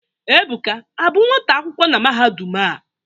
Ebuka abụ nwata akwụkwọ na mahadum a?